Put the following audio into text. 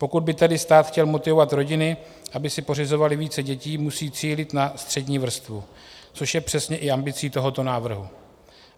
Pokud by tedy stát chtěl motivovat rodiny, aby si pořizovaly více dětí, musí cílit na střední vrstvu, což je přesně i ambicí tohoto návrhu.